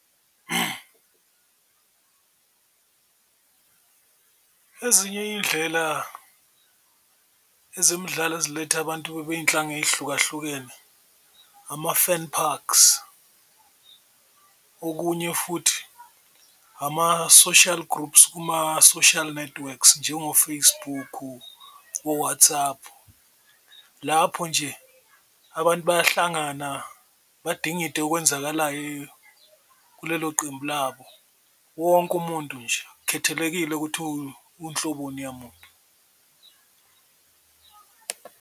Ezinye iyindlela ezemidlalo eziletha abantu bey'nhlanga ey'hlukahlukene ama-fan parks, okunye futhi ama-social groups kuma-social networks njengo-Facebook, o-WhatsApp. Lapho nje abantu bayahlangana badingide okwenzakalayo kulelo qembu labo, wonke umuntu nje akukhethelekile ukuthi uhloboni yamuntu.